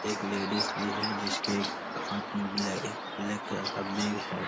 एक लेडीज भी है जिसके एक हाथ में ब्लै एक ब्लैक कलर का बैग है।